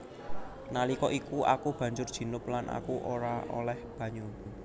Nalika iku aku banjur junub lan aku ora olèh banyu